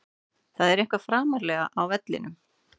Það er eitthvað framarlega á vellinum.